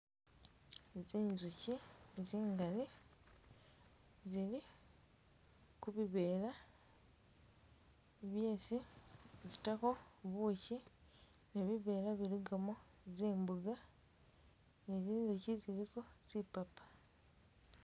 Tsinzushi tsingali zili kubivera byesi zitako bushi, ne bivera bilikamo zimboga ni zinzushi ziliko zipapa